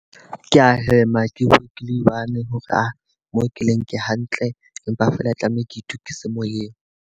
Ke a hema ke one hore mo keleng ke hantle. Empa feela ke tlameha ke itukise moyeng.